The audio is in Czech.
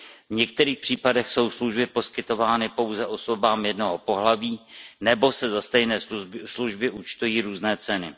V některých případech jsou služby poskytovány pouze osobám jednoho pohlaví nebo se za stejné služby účtují různé ceny.